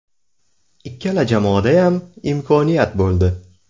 Ikkala jamoadayam imkoniyat bo‘ldi.